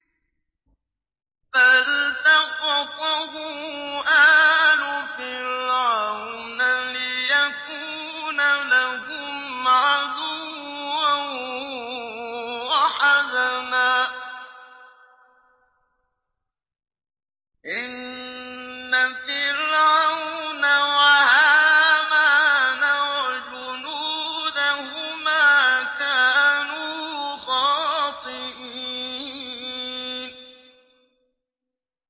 فَالْتَقَطَهُ آلُ فِرْعَوْنَ لِيَكُونَ لَهُمْ عَدُوًّا وَحَزَنًا ۗ إِنَّ فِرْعَوْنَ وَهَامَانَ وَجُنُودَهُمَا كَانُوا خَاطِئِينَ